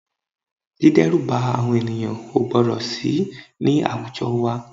Dídẹ́rùba àwọn ènìyàn o gbọ́dọ̀ sì ní àwùjọ wa